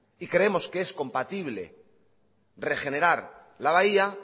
y creemos que es compatible regenerar la bahía